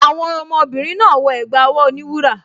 Àwọn ọmọbìnrin náà wọ ẹ̀gbá ọwọ́ oníwúrà